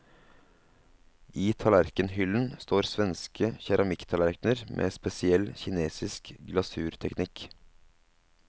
I tallerkenhyllen står svenske keramikktallerkener med spesiell kinesisk glasurteknikk.